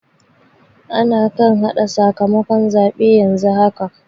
Ana kan haɗa sakamakon zaɓe yanzu haka.